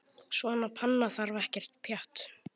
Svona panna þarf ekkert pjatt.